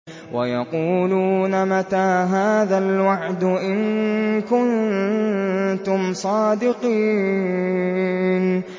وَيَقُولُونَ مَتَىٰ هَٰذَا الْوَعْدُ إِن كُنتُمْ صَادِقِينَ